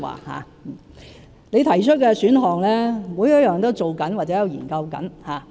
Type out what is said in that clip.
他提及的選項，每一個都在進行或研究中。